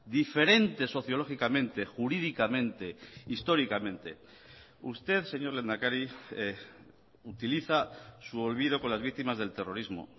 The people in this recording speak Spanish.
diferentes sociológicamente jurídicamente históricamente usted señor lehendakari utiliza su olvido con las víctimas del terrorismo